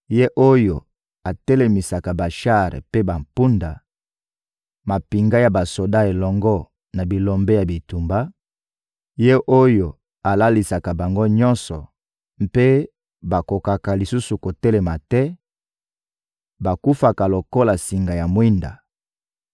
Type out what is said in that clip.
Ye oyo atelemisaka bashar mpe bampunda, mampinga ya basoda elongo na bilombe ya bitumba; Ye oyo alalisaka bango nyonso, mpe bakokaka lisusu kotelema te, bakufaka lokola singa ya mwinda: